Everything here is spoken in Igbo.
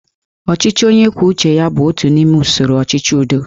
Ọchịchị onye kwuru uche ya bụ otu n'ime usoro ọchịchị udo